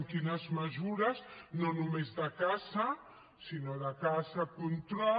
quines mesures no només de caça sinó de caça control